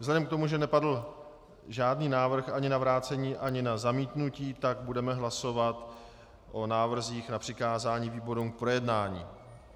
Vzhledem k tomu, že nepadl žádný návrh ani na vrácení, ani na zamítnutí, tak budeme hlasovat o návrzích na přikázání výborům, k projednání.